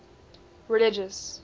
religious